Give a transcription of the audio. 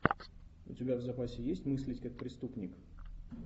у тебя в запасе есть мыслить как преступник